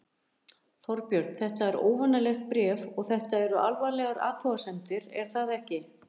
Þorbjörn, þetta er óvanalegt bréf og þetta eru alvarlegar athugasemdir er það ekki?